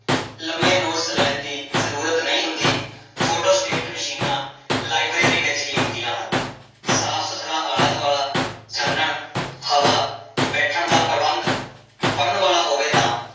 ਲੰਮੇ ਨੋਟਸ ਲੈਣ ਦੀ ਜ਼ਰੂਰਤ ਨਹੀਂ ਹੁੰਦੀ, ਫੋਟੋਸਟੇਟ ਮਸ਼ੀਨਾਂ ਲਾਇਬ੍ਰੇਰੀ ਵਿੱਚ ਹੀ ਹੁੰਦੀਆਂ ਹਨ, ਸਾਫ਼ ਸੁੱਥਰਾ ਆਲਾ ਦੁਆਲਾ ਚਾਨਣ ਹਵਾ, ਬੈਠਣ ਦਾ ਪ੍ਰਬੰਧ ਪੜ੍ਹਨ ਵਾਲਾ ਹੋਵੇ ਤਾਂ